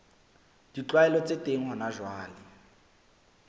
ditlwaelo tse teng hona jwale